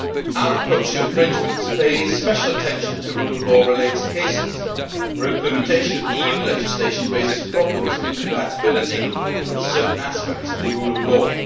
Our approach to infringements pays special attention to rule of law related cases, where implementation of EU legislation raises problems of compatibility with certain aspects of the rule of